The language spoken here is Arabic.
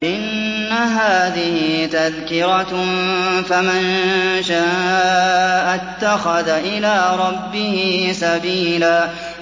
إِنَّ هَٰذِهِ تَذْكِرَةٌ ۖ فَمَن شَاءَ اتَّخَذَ إِلَىٰ رَبِّهِ سَبِيلًا